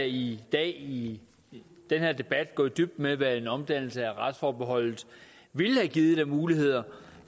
i dag i den her debat gå i dybden med hvad en omdannelse af retsforbeholdet ville have givet af muligheder